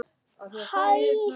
En lítum á.